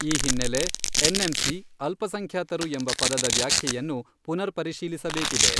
ಈ ಹಿನ್ನೆಲೆ ಎನ್.ಎಂ.ಸಿ, ಅಲ್ಪಸಂಖ್ಯಾತರು ಎಂಬ ಪದದ ವ್ಯಾಖ್ಯೆಯನ್ನು ಪುನರ್ ಪರಿಶೀಲಿಸಬೇಕಿದೆ.